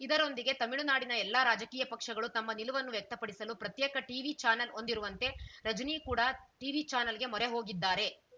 ಇದರೊಂದಿಗೆ ತಮಿಳುನಾಡಿನ ಎಲ್ಲಾ ರಾಜಕೀಯ ಪಕ್ಷಗಳು ತಮ್ಮ ನಿಲುವನ್ನು ವ್ಯಕ್ತಪಡಿಸಲು ಪ್ರತ್ಯೇಕ ಟೀವಿ ಚಾನೆಲ್‌ ಹೊಂದಿರುವಂತೆ ರಜನಿ ಕೂಡಾ ಟೀವಿ ಚಾನೆಲ್‌ಗೆ ಮೊರೆ ಹೋಗಿದ್ದಾರೆ